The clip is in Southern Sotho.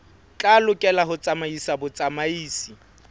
tla lokela ho tsamaisa botsamaisi